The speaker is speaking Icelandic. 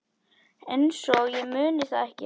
Einsog ég muni það ekki!